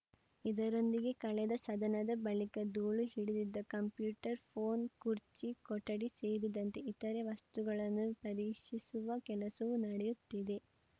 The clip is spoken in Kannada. ಇದರೊಂದಿಗೆ ಕಳೆದ ಸದನದ ಬಳಿಕ ಧೂಳು ಹಿಡಿದಿದ್ದ ಕಂಪ್ಯೂಟರ್‌ ಫೋನ್‌ ಕುರ್ಚಿ ಕೊಠಡಿ ಸೇರಿದಂತೆ ಇತರೆ ವಸ್ತುಗಳನ್ನು ಪರೀಕ್ಷಿಸುವ ಕೆಲಸವೂ ನಡೆಯುತ್ತಿದೆ